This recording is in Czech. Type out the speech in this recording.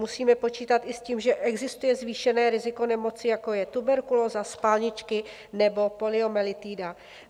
Musíme počítat i s tím, že existuje zvýšené riziko nemoci, jako je tuberkulóza, spalničky nebo poliomyelitida.